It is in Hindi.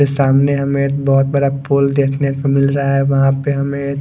ये सामने हमें एक बहोत बड़ा पोल देखने को मिल रहा है वहां पे हमें--